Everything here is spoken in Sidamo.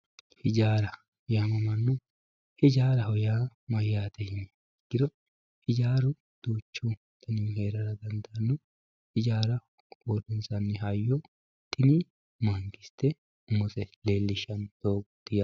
ijaaraho yaamamanno ijaaraho yaa mayyate yiniha ikkiro ijaaru duuchu danuhu heerara dandaanno ijaara uurrinsanni hayyo tini mangiste umose leellishshanno doogooti yaate.